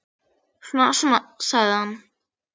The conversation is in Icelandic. Svona, svona, sagði hann.